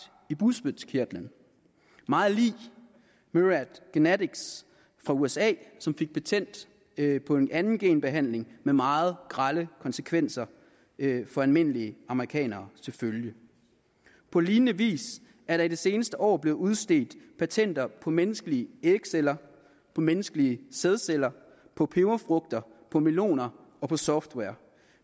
i bugspytkirtlen meget lig myriad genetics fra usa som fik patent på en anden genbehandling med meget grelle konsekvenser for almindelige amerikanere til følge på lignende vis er der i det seneste år blevet udstedt patenter på menneskelige ægceller på menneskelige sædceller på peberfrugter på meloner og på software